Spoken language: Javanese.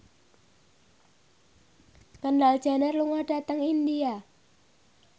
Kendall Jenner lunga dhateng India